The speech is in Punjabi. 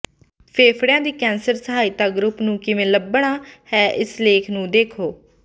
ਫੇਫੜਿਆਂ ਦੀ ਕੈਂਸਰ ਸਹਾਇਤਾ ਗਰੁੱਪ ਨੂੰ ਕਿਵੇਂ ਲੱਭਣਾ ਹੈ ਇਸ ਲੇਖ ਨੂੰ ਦੇਖੋ